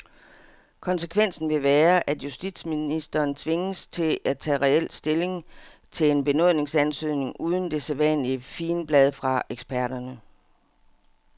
Konsekvensen vil være, at justitsministeren tvinges til at tage reel stilling til en benådningsansøgning uden det sædvanlige figenblad fra eksperterne.